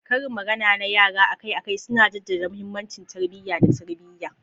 Karin magana na yara akai-akai suna jaddada mahimmancin tarbiyya da tarbiyya.